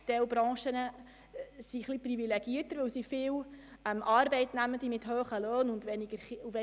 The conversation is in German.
Gewisse Branchen sind etwas privilegierter, da sie viele Arbeitnehmende mit hohen Löhnen und wenigen Kindern haben.